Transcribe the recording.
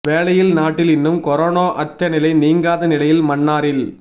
வேளையில் நாட்டில் இன்னும் கொனோரா அச்ச நிலை நீங்காத நிலையில் மன்னாரில்